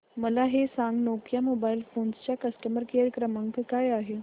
मला हे सांग नोकिया मोबाईल फोन्स चा कस्टमर केअर क्रमांक काय आहे